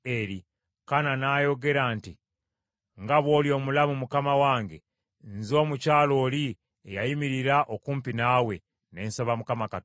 Kaana n’ayogera nti, “Nga bw’oli omulamu mukama wange, nze mukyala oli eyayimirira okumpi naawe, ne nsaba Mukama Katonda.